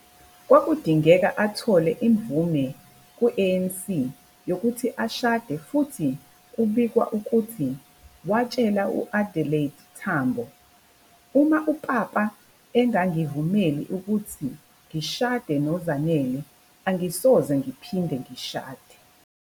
Kwakudingeka athole imvume ku-ANC yokuthi ashade futhi kubikwa ukuthi watshela u- Adelaide Tambo "uma uPapa engangivumeli ukuba ngishade noZanele, angisoze, ngiphinde ngishade.